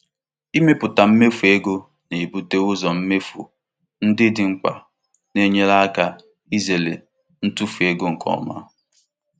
Ịmepụta mmefu ego na-ebute ụzọ mmefu ndị dị mkpa na-enyere aka izere ntufu ego nke ọma.